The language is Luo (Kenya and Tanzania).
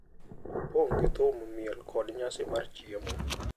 Opong’ gi thum, miel, kod nyasi mar chiemo.